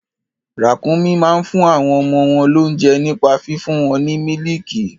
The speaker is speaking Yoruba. Ràkúnmí máa ń fún àwọn ọmọ wọn lóunjẹ nípa fífún wọn ní mílìkì.